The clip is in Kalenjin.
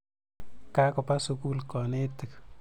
Ka kopa sukul kanetik.